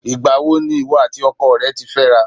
Ìgbà wo ni ìwọ àti ọkọ rẹ ti fẹ́ra?